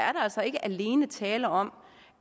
altså ikke alene tale om